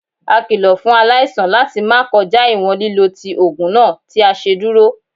A kilo fun alaisan lati ma kọja iwọn lilo ti oogun naa ti a ṣeduro.